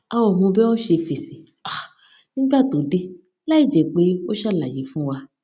a ò mọ bi a o se fesi um nígbà tó dé láìjé pé ó ṣàlàyé fún wa